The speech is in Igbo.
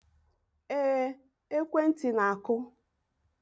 Ee, ekwentị na-akụ